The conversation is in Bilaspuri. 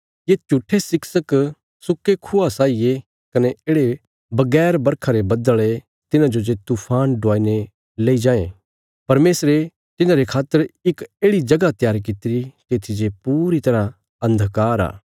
ये झूट्ठे शिक्षक सुक्के खूआ साई ये कने येढ़े बगैर बरखा रे बद्दल़ ये तिन्हांजो जे तूफान डुआईने लेई जायें परमेशरे तिन्हांरे खातर इक येढ़ि जगह त्यार कित्तिरी तित्थी जे पूरी तरह अन्धकार आ